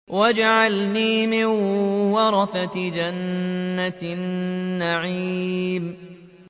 وَاجْعَلْنِي مِن وَرَثَةِ جَنَّةِ النَّعِيمِ